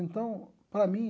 Então, para mim,